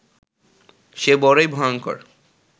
সে বড়ই ভয়ঙ্কর